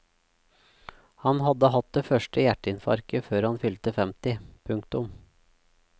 Han hadde hatt det første hjerteinfarktet før han fylte femti. punktum